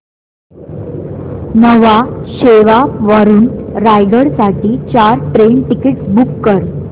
न्हावा शेवा वरून रायगड साठी चार ट्रेन टिकीट्स बुक कर